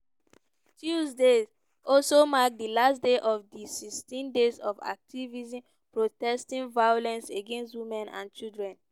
tuesday also mark di last day of di 16 days of activism protesting violence against women and children.